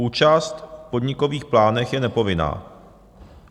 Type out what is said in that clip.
Účast v podnikových plánech je nepovinná.